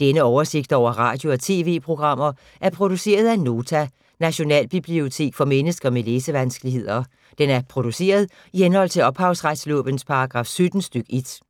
Denne oversigt over radio og TV-programmer er produceret af Nota, Nationalbibliotek for mennesker med læsevanskeligheder. Den er produceret i henhold til ophavsretslovens paragraf 17 stk. 1.